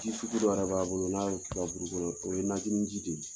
Ji sugu dɔ yɛrɛ b'a bolo n'a y'o kɛ i ka buru kɔnɔ o ye najini ji de ye.